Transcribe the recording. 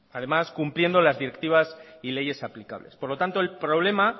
además cumpliendo las directivas y leyes aplicables por lo tanto el problema